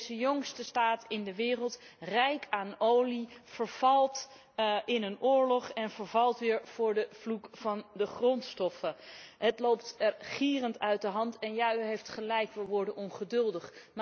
En deze jongste staat in de wereld, rijk aan olie, vervalt in een oorlog en valt weer voor de vloek van de grondstoffen. Het loopt er gierend uit de hand en ja, u hebt gelijk, wij worden ongeduldig.